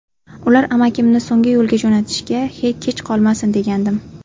Ular amakimni so‘nggi yo‘lga jo‘natishga kech qolmasin degandim.